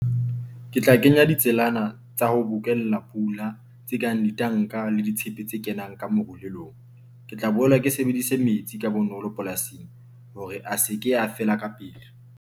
Ke tla kenya ditselana tsa ho bokella pula tse kang ditanka le ditshepe tse kenang ka marulelong. Ke tla boela ke sebedise metsi ka bonolo polasing hore a seke a fela ka pele.